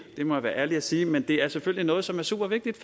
det må jeg være ærlig at sige men det er selvfølgelig noget som er supervigtigt